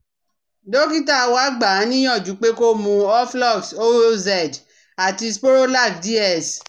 dókítà wa gbà á níyànjú pé kó mu Oflox OZ àti Sporolac DS